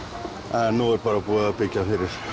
en nú er bara búið að byggja